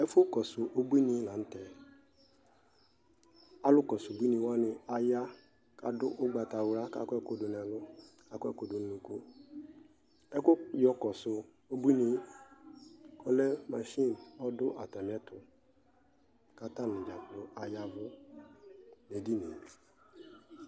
Ɛfʋ kɔsʋ ubuini lanʋtɛAlʋ kɔsu ubuini wani aya , kadʋ ugbatawla, kakɔ ɛku dʋ nɛlu, kakɔ ɛkʋ dʋ nʋ unukuƐkʋ yɔkɔdu ubuinie ɔlɛ masini , ɔdʋ atamiɛtuKatani dzakplo ayavʋ nedinie